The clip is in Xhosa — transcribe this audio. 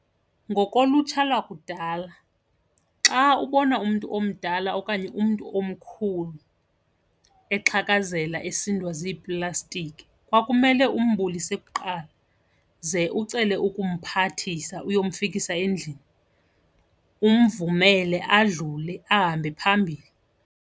Ngokolutsha lakudala xa ubona umntu omdala okanye umntu omkhulu exhakazela esindwa ziiplastiki, kwakumele umbulise kuqala ze ucele ukumphathisa uyomfikisa endlini, umvumele adlule ahambe phambili.